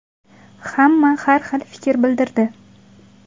Hamma har xil fikr bildirdi.